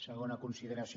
segona consideració